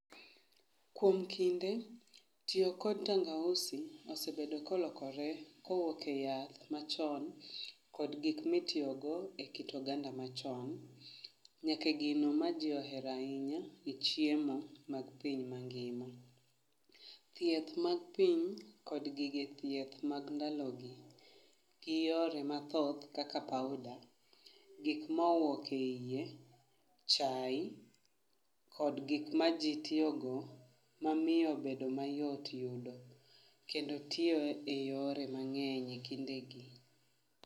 Kuom kinde, tiyo kod tangausi osebedo kolokore kowuok e yath machon kod gik mitiyo go e keto oganda machon, nyaka e gino ma jii ohero ahinya e chiemo mag piny mangima. Thieth mag piny kod gige thieth mag ndalo gi gi yore mathoth kaka powder gikma owuok e iye, chai kod gikma jii tiyo go mamiyo bedo mayot e yudo kendo tiyo e yore mangeny e kindegi